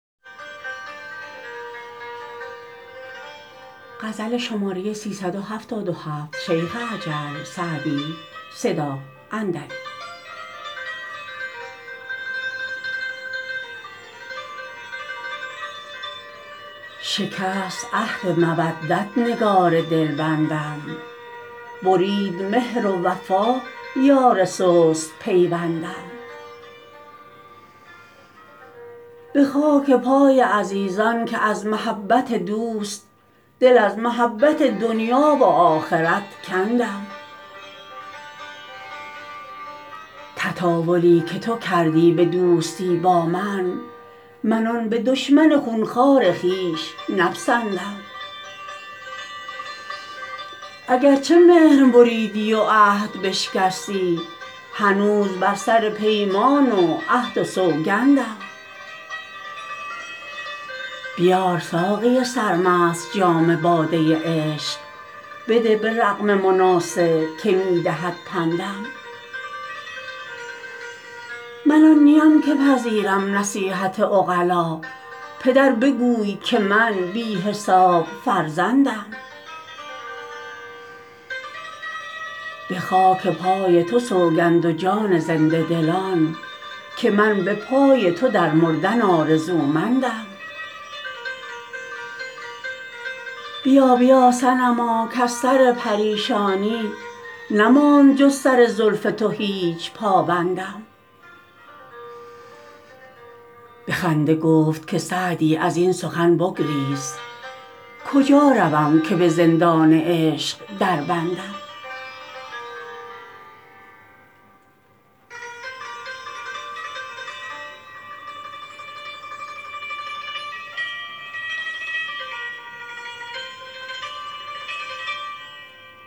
شکست عهد مودت نگار دلبندم برید مهر و وفا یار سست پیوندم به خاک پای عزیزان که از محبت دوست دل از محبت دنیا و آخرت کندم تطاولی که تو کردی به دوستی با من من آن به دشمن خون خوار خویش نپسندم اگر چه مهر بریدی و عهد بشکستی هنوز بر سر پیمان و عهد و سوگندم بیار ساقی سرمست جام باده عشق بده به رغم مناصح که می دهد پندم من آن نیم که پذیرم نصیحت عقلا پدر بگوی که من بی حساب فرزندم به خاک پای تو سوگند و جان زنده دلان که من به پای تو در مردن آرزومندم بیا بیا صنما کز سر پریشانی نماند جز سر زلف تو هیچ پابندم به خنده گفت که سعدی از این سخن بگریز کجا روم که به زندان عشق دربندم